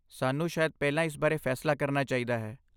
ਸਾਨੂੰ ਸ਼ਾਇਦ ਪਹਿਲਾਂ ਇਸ ਬਾਰੇ ਫੈਸਲਾ ਕਰਨਾ ਚਾਹੀਦਾ ਹੈ।